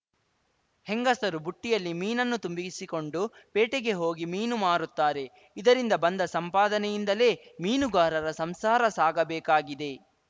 ಹೆಂಗಸರು ಬುಟ್ಟಿಯಲ್ಲಿ ಮೀನುನ್ನು ತುಂಬಿಸಿಕೊಂಡು ಪೇಟೆಗೆ ಹೋಗಿ ಮೀನು ಮಾರುತ್ತಾರೆಇದರಿಂದ ಬಂದ ಸಂಪಾದನೆಯಿಂದಲೇ ಮೀನುಗಾರರ ಸಂಸಾರ ಸಾಗಬೇಕಾಗಿದೆ